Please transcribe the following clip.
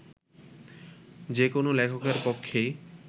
যে কোনো লেখকের পক্ষেই